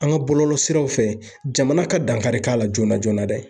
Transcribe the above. An ka bɔlɔlɔ siraw fɛ jamana ka dankari k'a la joona joona dɛ